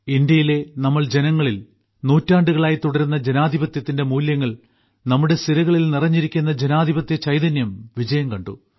ഇന്ത്യയിലെ നമ്മൾ ജനങ്ങളിൽ നൂറ്റാണ്ടുകളായി തുടരുന്ന ജനാധിപത്യത്തിന്റെ മൂല്യങ്ങൾ നമ്മുടെ സിരകളിൽ നിറഞ്ഞിരിക്കുന്ന ജനാധിപത്യ ചൈതന്യം വിജയം കണ്ടു